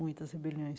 Muitas rebeliões.